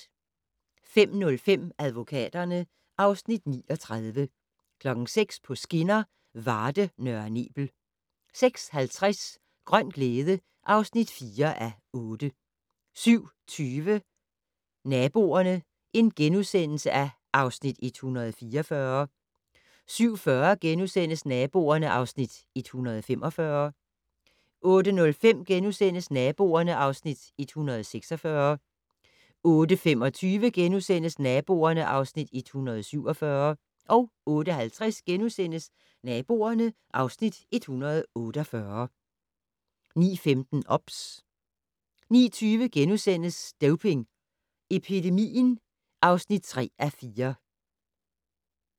05:00: Advokaterne (Afs. 39) 06:00: På skinner: Varde - Nørre Nebel 06:50: Grøn glæde (4:8) 07:20: Naboerne (Afs. 144)* 07:40: Naboerne (Afs. 145)* 08:05: Naboerne (Afs. 146)* 08:25: Naboerne (Afs. 147)* 08:50: Naboerne (Afs. 148)* 09:15: OBS 09:20: Doping Epidemien (3:4)*